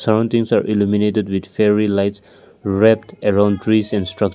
round things are illuminated with fairy lights wrapped around trees and structure.